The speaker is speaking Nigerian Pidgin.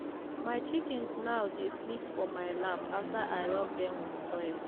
my chickens now dey sleep for my lap after i rub them with oil.